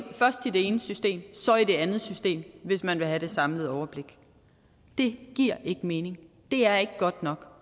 i det ene system så i det andet system hvis man vil have det samlede overblik det giver ikke mening det er ikke godt nok